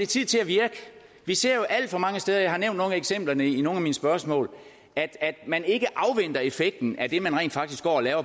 tid til at virke vi ser jo alt for mange steder jeg har nævnt nogle af eksemplerne i nogle af mine spørgsmål at at man ikke afventer effekten af det man rent faktisk går og laver